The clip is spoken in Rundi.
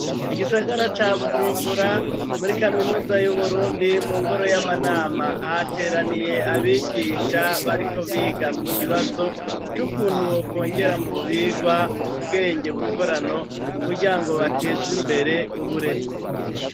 Mu gisagara ca Bujumbura, muri kaminuza y'Uburundi, mu ngoro y'amanama, hateraniye abigisha. Bariko biga ku kibazo c'ukuntu bokwongera mu vyigwa ubwenge bukorano kugira ngo bateze imbere uburezi.